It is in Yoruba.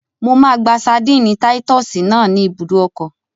Mo máa gba ṣadínnì táyítọ́sì náà ní ibùdó ọkọ̀